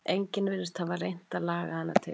Enginn virðist hafa reynt að laga hana til.